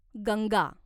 Ganga